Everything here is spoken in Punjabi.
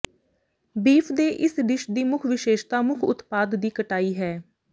ਬੀਫ ਦੇ ਇਸ ਡਿਸ਼ ਦੀ ਮੁੱਖ ਵਿਸ਼ੇਸ਼ਤਾ ਮੁੱਖ ਉਤਪਾਦ ਦੀ ਕਟਾਈ ਹੈ